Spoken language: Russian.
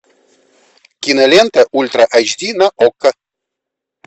кинолента ультра эйч ди на окко